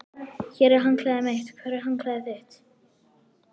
Hér er handklæðið mitt. Hvar er handklæðið þitt?